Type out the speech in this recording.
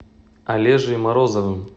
олежей морозовым